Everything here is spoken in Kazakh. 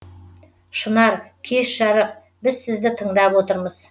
шынар кеш жарық біз сізді тыңдап отырмыз